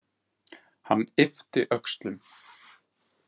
Hann yppti öxlum.